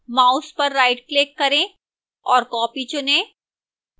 mouse पर rightclick करें और copy चुनें